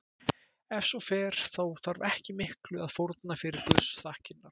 Ef svo fer þá þarf ekki miklu að fórna fyrir guðsþakkirnar.